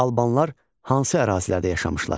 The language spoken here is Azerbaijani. Albanlar hansı ərazilərdə yaşamışlar?